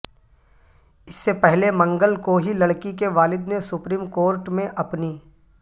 اس سے پہلے منگل کو ہی لڑکی کے والد نے سپریم کورٹ میں اپنی